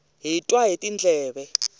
hi twa hi tindleve